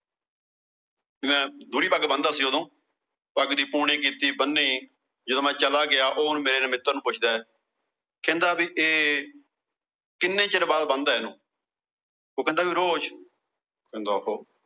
ਮੈਂ ਗੂੜੀ ਪੱਗ ਬੰਨਦਾ ਸੀ ਉਦੋਂ। ਪੱਗ ਦੀ ਪੂਣੀ ਕੀਤੀ, ਬੰਨੀ। ਜਦੋਂ ਮੈਂ ਚਲਾ ਗਿਆ, ਉਹ ਹੁਣ ਮੇਰੇ ਮਿੱਤਰ ਨੂੰ ਪੁੱਛਦਾ, ਕਹਿੰਦਾ ਵੀ ਇਹ ਕਿੰਨੇ ਚਿਰ ਬਾਅਦ ਬਣਦਾ ਇਹਨੂੰ ਉਹ ਕਹਿੰਦਾ ਵੀ ਰੋਜ਼